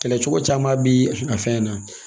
Kɛlɛ cogo caman bi a fɛn na